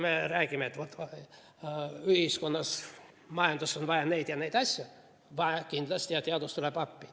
Me räägime, et ühiskonnas, majanduses on kindlasti vaja neid ja neid asju, ja teadus tuleb appi.